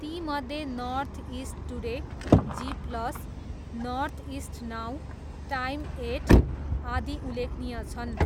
तीमध्ये North East Today, G Plus, Northeast Now नाऊ, Time Eight, आदि उल्लेखनीय छन्।